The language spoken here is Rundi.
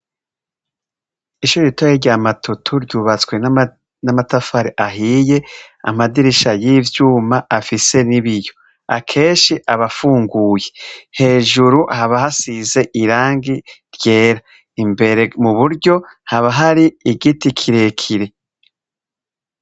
ishure ritoya rya Matutu ryubatswe n'amatafari ahiye amadirisha y'ivyuma afise n'ibiyo, akenshi aba afunguye hejuru haba hasize irangi ryera imbere muburyo haba hari igiti kirekire